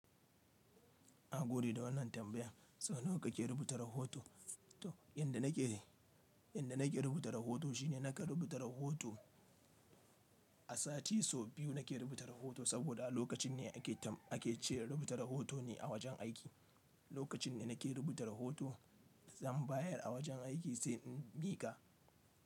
Na gode da wannan tambaya. Sau nawa ka ke rubuta rahoto? To, inda na ke, inda na ke rubuta rahoto shine na ka rubuta rahoto a sati sau biyu. Na ke rubuta rahoto saboda lokacin ne a ke tam, a ke ce rubuta rahoto ne a wajen aiki. Lokacin ne na ke rubuta rahoto, zan bayar a wajen aiki sai in bi ka.